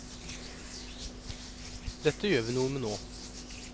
Dette gjør vi noe med nå.